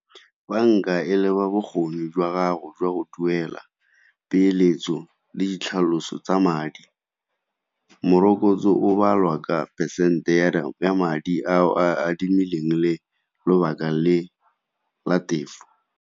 Banka e leba bokgoni jwa gago jwa go duela, peeletso le ditlhaloso tsa madi. Morokotso o balwa ka phesente ya madi a adimileng le lobaka le la tefo.